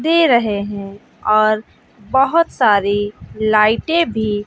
दे रहे हैं और बहोत सारी लाइटे भी--